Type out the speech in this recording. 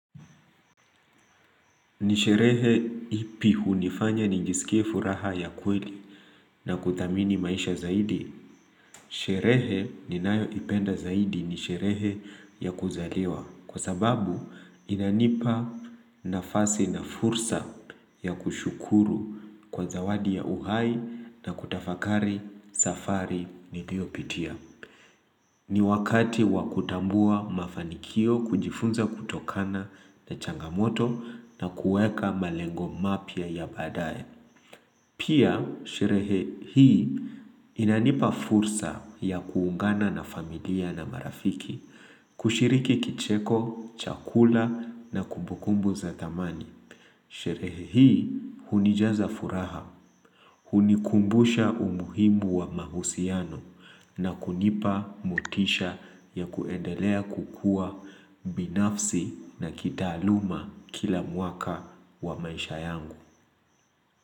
Ni sherehe ipi hunifanya nijisikie furaha ya kweli na kuthamini maisha zaidi. Sherehe ninayoipenda zaidi ni sherehe ya kuzaliwa. Kwa sababu inanipa nafasi na fursa ya kushukuru kwa zawadi ya uhai na kutafakari safari niliopitia. Ni wakati wa kutambua mafanikio kujifunza kutokana na changamoto na kueka malengo mapya ya baadaye. Pia, sherehe hii inanipa fursa ya kuungana na familia na marafiki, kushiriki kicheko, chakula na kumbukumbu za thamani. Sherehe hii hunijaza furaha, hunikumbusha umuhimu wa mahusiano na kunipa motisha ya kuendelea kukuwa binafsi na kitaaluma kila mwaka wa maisha yangu.